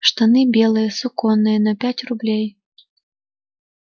штаны белые суконные на пять рублей